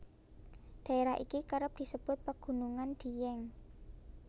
Daerah iki kerep disebut pegunungan Dieng